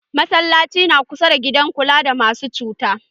Masallacin na kusa da gidan kula da masu cuta.